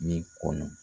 Ne kɔnɔ